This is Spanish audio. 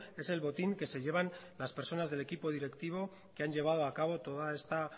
es el botín que se llevan las personas del equipo directivo que han llevado a cabo toda esta